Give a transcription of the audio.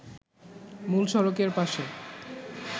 মূল সড়কের পাশে